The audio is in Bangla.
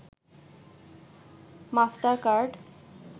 master card